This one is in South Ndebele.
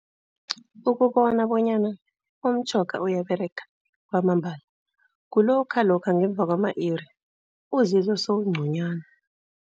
Ukubona bonyana umtjhoga uyaberega kwamambala, kulokha lokha ngemva kwama-iri uzizwa sewungconywana.